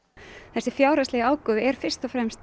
þessi fjárhagslegi ágóði er fyrst og fremst